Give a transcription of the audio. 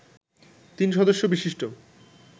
তিন সদস্য বিশিষ্ট